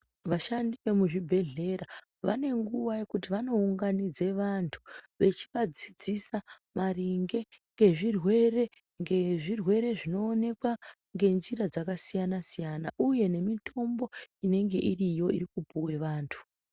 Vashandi vemuzvibhedhlera vane nguva yekuti vanounganidze vantu vechivadzidzisa maringe ngezvirwere, ngezvirwere zvinooneka ngenjira dzakasiyana-siyana uye nemitombo inenge iriyo, irikupiwe vanhu.